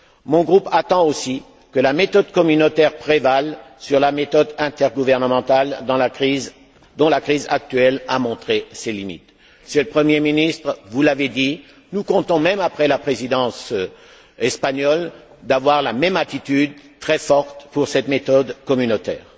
Mon groupe attend aussi que la méthode communautaire prévale sur la méthode intergouvernementale, dont la crise actuelle a montré les limites. Monsieur le Premier ministre, vous l'avez dit, nous comptons, même après la présidence espagnole, conserver la même attitude, très forte, à l'égard de cette méthode communautaire.